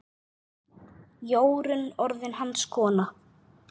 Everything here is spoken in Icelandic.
Jórunn orðin hans kona.